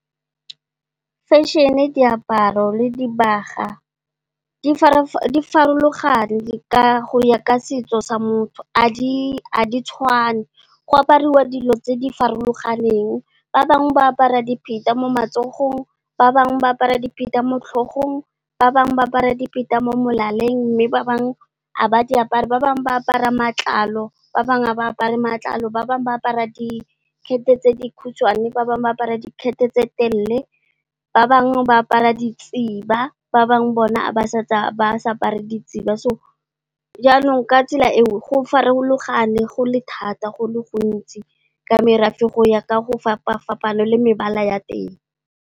Fešene, diaparo le dibaga, di farologane go ya ka setso sa motho, ga di tshwane. Go aparwa dilo tse di farologaneng, ba bangwe ba apara dipheta mo matsogong, ba bangwe ba apara dipheta mo tlhogong, ba bangwe ba apara dipheta mo molaleng. Mme, ba bangwe ga ba di apare, ba bangwe ba apara matlalo, ba bangwe ba apara dikhethe tse dikhutshwane, ba bangwe ba apara dikhethe tse telele, ba bangwe ba apara ditsiba, ba bangwe bona a ba apare ditsiba. Jaanong, ka tsela eo go farologane, go le thata, go le gontsi ka merafe go ya ka go fapa-fapana le mebala ya teng.